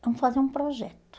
Vamos fazer um projeto.